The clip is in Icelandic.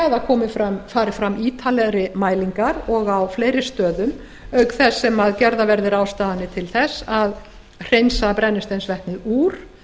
að það fari fram ítarlegri mælingar og á fleiri stöðum auk þess sem gerðar verði ráðstafanir til þess að hreinsa brennisteinsvetni úr